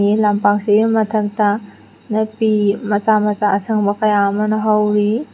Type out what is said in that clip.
E ꯂꯝꯄꯥꯛꯁꯤꯒꯤ ꯃꯊꯛꯇꯥ ꯅꯥꯄꯤ ꯃꯆꯥ ꯃꯆꯥ ꯑꯁꯪꯕ ꯀꯌꯥ ꯑꯃꯅ ꯍꯧꯔꯤ꯫